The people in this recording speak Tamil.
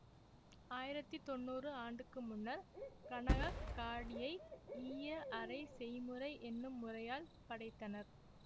ஆயிரத்தி தொள்ளாயிரம் ஆண்டுக்கு முன்னர் கநகக்க் காடியை ஈய அறை செய்முறை என்னும் முறையால் படைத்தனர்